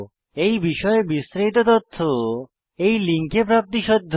এই বিষয়ে বিস্তারিত তথ্য এই লিঙ্কে প্রাপ্তিসাধ্য